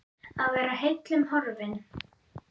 Að vera heillum horfin